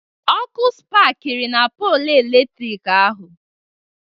Ọkụ spakiri na polụ eletrik ahụ